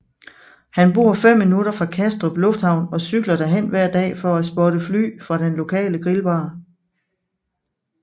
Han bor fem minutter fra Kastrup lufthavn og cykler derhen hver dag for at spotte fly fra den lokale grillbar